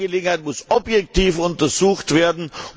Die Angelegenheit muss objektiv untersucht werden.